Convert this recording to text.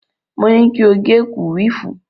Mo ní kí o gẹ kúwìfù.